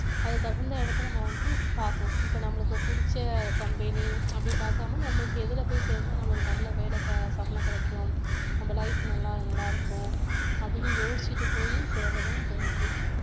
அதுக்கு தகுந்த இடத்தை நம்ம வந்து பாக்கணும் இப்ப நம்மளுக்கு புடிச்ச company அப்படி பாக்காம நம்மளுக்கு எதுல போய் சேர்ந்தா நம்மளுக்கு நல்ல வேலை க~ சம்பளம் கிடைக்கும் நம்ம life நல்லா நல்லா இருக்கும் அப்படின்னு யோசிச்சிட்டு போயி சேர்றதுதான் இப்ப முக்கியம்